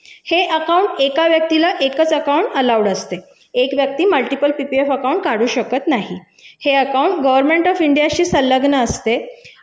हे खातं एका व्यक्तीला एकच खातं परवानगी असते एक व्यक्ती एकाधिक खाते काढू शकत नाही हे अकाउंट भारतीय सरकार ची असते